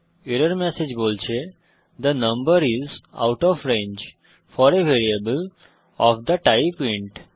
error message বলছে the number is out of range for a variable of the type int